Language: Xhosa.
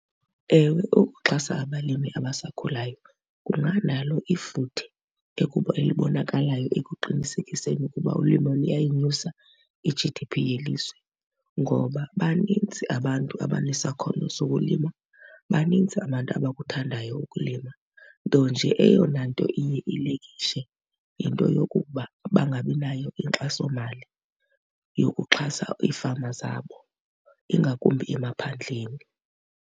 Ewe, ukuxhasa abalimi abasakhulayo kunganalo ifuthe elibonakalayo ekuqinisekiseni ukuba ulimo luyayinyusa i-G_D_P yelizwe. Ngoba banintsi abantu abanesakhono sokulima, banintsi abantu abakuthandayo ukulima, nto nje eyona nto iye ilekishe yinto yokokuba bangabi nayo inkxasomali yokuxhasa iifama zabo, ingakumbi emaphandleni.